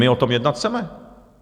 My o tom jednat chceme.